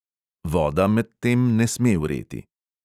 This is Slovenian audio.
Voda medtem ne sme vreti.